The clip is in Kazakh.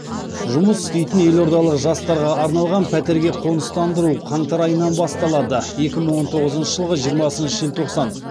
жұмыс істейтін елордалық жастарға арналған пәтерге қоныстандыру қаңтар айынан басталады екі мың он тоғызыншы жылғы жиырмасыншы желтоқсан